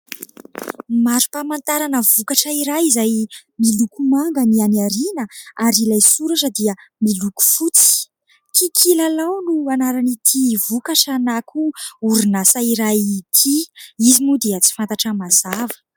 Marom-pamantarana vokatra iray izay miloko manga ny any ariana ary ilay soratra dia miloko fotsy. "Kikilalao" no anaran'ity vokatra na koa orinasa iray ity, izy moa dia tsy fantatra mazava.